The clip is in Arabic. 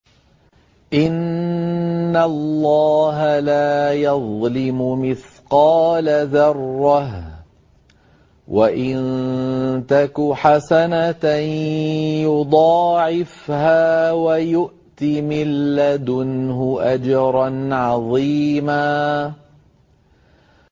إِنَّ اللَّهَ لَا يَظْلِمُ مِثْقَالَ ذَرَّةٍ ۖ وَإِن تَكُ حَسَنَةً يُضَاعِفْهَا وَيُؤْتِ مِن لَّدُنْهُ أَجْرًا عَظِيمًا